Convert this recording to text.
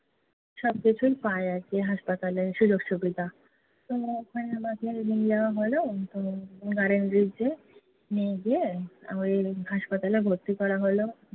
সবকিছুই পায় আর কি hospital এ সুযোগ সুবিধা। তো ওখানে আমাকে নিয়ে যাওয়া হলো। তো নিয়ে গিয়ে hospital ভর্তি করা হলো।